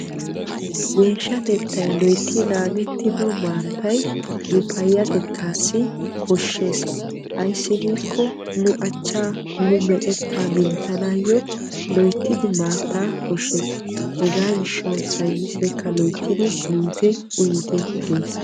geeshshatettay loytti naagetido maattay nu payyatettassi koshshees ayssi giiko nu achcha nu meqeta minttanawyyo loyttidi maatta koshshees. hegaa gishshaw saynnisekka loyttidi miite uyyite gees.